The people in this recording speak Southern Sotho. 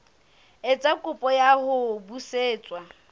etsa kopo ya ho busetswa